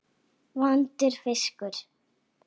Vondur fiskur.